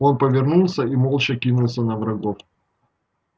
он повернулся и молча кинулся на врагов